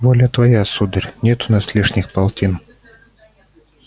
воля твоя сударь нет у нас лишних полтин